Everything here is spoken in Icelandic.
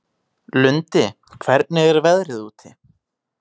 Lundi, hvernig er veðrið úti?